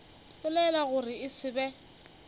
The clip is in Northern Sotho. belaela gore e se be